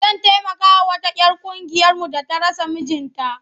Zan taimakawa wata 'yar ƙungiyarmu da ta rasa mijinta.